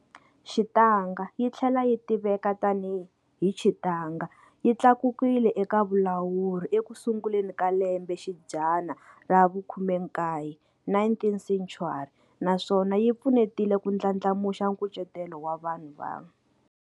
Xitanga yitlhela yitiveka tani hi Chitanga yi tlakukile eka vulawuri ekusunguleni ka lembe xidzana ravu 19,19th century, naswona yi pfunetile ku ndlandlamuxa nkucetelo wa vanhu va.